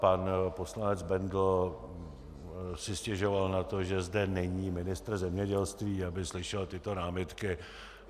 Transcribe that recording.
Pan poslanec Bendl si stěžoval na to, že zde není ministr zemědělství, aby slyšel tyto námitky.